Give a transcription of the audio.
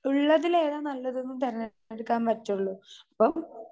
Speaker 2 ഉള്ളതിൽ ഏതാ നല്ലത് എന്ന് തിരഞ്ഞെടുക്കാൻ പറ്റുള്ളൂ. അപ്പോ